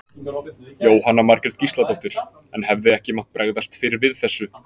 Jóhanna Margrét Gísladóttir: En hefði ekki mátt bregðast fyrr við þessu?